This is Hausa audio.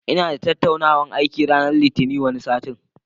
Inada tattaunawan aiki ranar Litinin wani sati